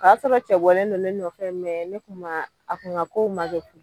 O y'a sɔrɔ cɛ bɔlen don ne nɔfɛ ne tun maa a tun ŋa kow ma kɛ ko